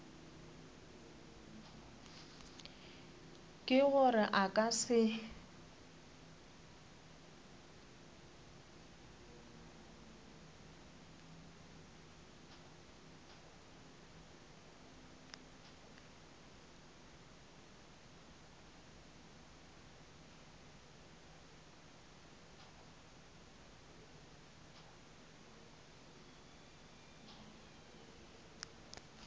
ke gore a ka se